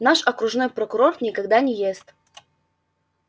наш окружной прокурор никогда не ест